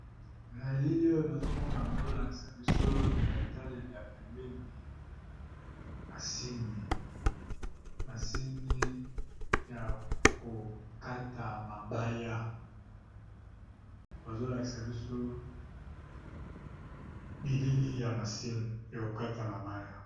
Na elili nazo mona bazo lakisa biso na etaleli ya pembeni masini. Masini ya ko kata mabaya. Bazo lakisa biso bilili ya masini ya ko kata mabaya.